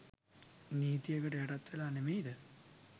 නීතියකට යටත් වෙලා නෙමෙයිද?